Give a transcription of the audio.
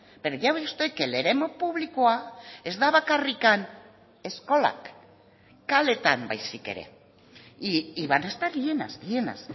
pero ya ve usted que el eremu publikoa ez da bakarrik eskolak kaleetan baizik ere y van a estar llenas llenas